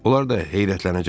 Onlar da heyrətlənəcəklər.